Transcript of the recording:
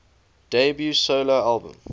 debut solo album